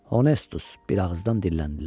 Honetus, bir ağızdan dilləndilər.